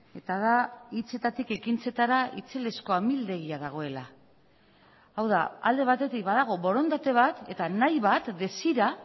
eta da hitzetatik ekintzetara itzelezko amildegia dagoela hau da alde batetik badago borondate bat eta nahi bat desira